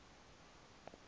la wona amadoda